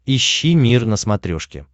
ищи мир на смотрешке